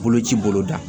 Boloci bolo da